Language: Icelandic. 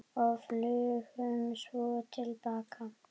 Og flugum svo til baka.